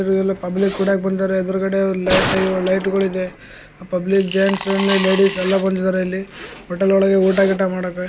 ಎಲ್ಲಾ ಪಬ್ಲಿಕ ಕುಡ ಬಂದಿದ್ದಾರೆ ಎದ್ರುಗಡೆ ಲೈಟ ಲೈಟ ಗಳಿವೆ ಪಬ್ಲಿಕ ಜೈನ್ಸ್ ಮತ್ತೆ ಲೇಡೀಸ್ ಎಲ್ಲಾ ಬಂದಿದ್ದಾರೆ ಇಲ್ಲಿ ಹೋಟೆಲ್ ಒಳಗೆ ಊಟಗಿಟ ಮಾಡಕ .